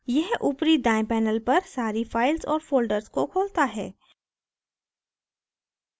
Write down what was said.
यह ऊपरी दायें panel पर सारी files और folders को खोलता है